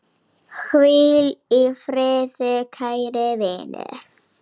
Hvíl í friði, kæri vinur!